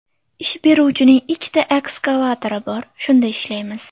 Ish beruvchining ikkita ekskavatori bor, shunda ishlaymiz.